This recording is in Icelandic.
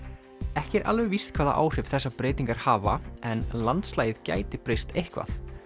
ekki er alveg víst hvaða áhrif þessar breytingar hafa en landslagið gæti breyst eitthvað